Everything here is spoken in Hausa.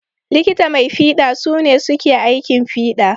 Likita mai fiɗa su ne suke aikin fiɗa.